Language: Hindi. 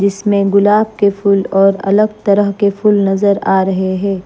जिसमें गुलाब के फूल और अलग तरह के फूल नजर आ रहे हैं।